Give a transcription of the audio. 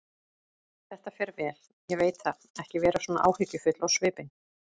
Þetta fer vel, ég veit það, ekki vera svona áhyggjufull á svipinn.